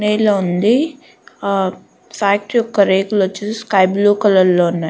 నేల ఉంది ఆ ఫాక్టరీ యొక్క రేకులు వచ్చేసి స్కై బ్లూ కలర్ లో ఉన్నాయి.